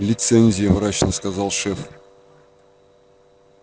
лицензия мрачно сказал шеф